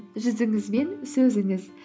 жүзіңіз бен сөзіңіз